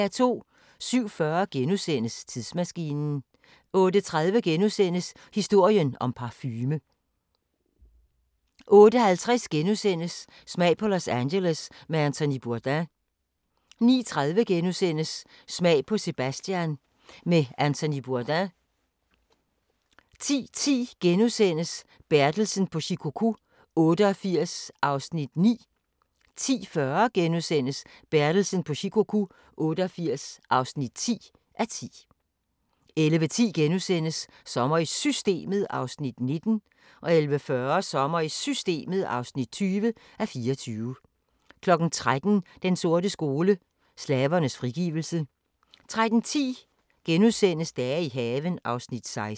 07:40: Tidsmaskinen * 08:30: Historien om parfume * 08:50: Smag på Los Angeles med Anthony Bourdain * 09:30: Smag på San Sebastian med Anthony Bourdain * 10:10: Bertelsen på Shikoku 88 (9:10)* 10:40: Bertelsen på Shikoku 88 (10:10)* 11:10: Sommer i Systemet (19:24)* 11:40: Sommer i Systemet (20:24) 13:00: Den sorte skole: Slavernes frigivelse 13:10: Dage i haven (16:21)*